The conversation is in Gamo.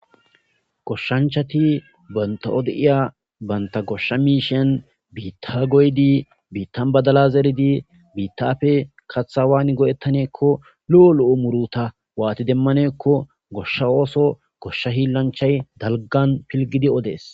Goshshanchati banta'ode iya baynta goshsha miishen biitta goydi biittan badala zeridi biittaapfe kathawaani goettaneekko lu'o lo'u muruta waati demmaneekko goshsha ooso goshsha hiillanchay dalgan pilgidi odees